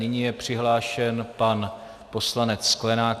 Nyní je přihlášen pan poslanec Sklenák.